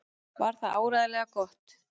Var það áreiðanlega gott?